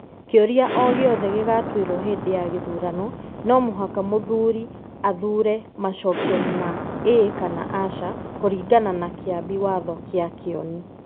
Kĩũria o gĩothe gĩgatuĩrwo hĩndĩ ya gĩthurano, no mũhaka mũthuuri athuure macokio ma Ĩĩ kana Aca, kũringana na Kĩambi Watho kĩa Kioni.